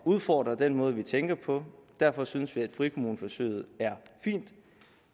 udfordre den måde vi tænker på derfor synes vi at frikommuneforsøget er fint